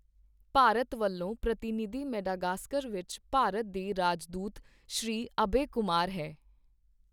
ਭਾਰਤ ਵੱਲੋਂ ਪ੍ਰਤਿਨਿੱਧੀ ਮੇਡਾਗਾਸਕਰ ਵਿਚ ਭਾਰਤ ਦੇ ਰਾਜਦੂਤ ਸ਼੍ਰੀ ਅਭਏ ਕੁਮਾਰ ਹੈ